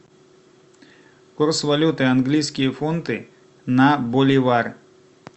курс валюты английские фунты на боливар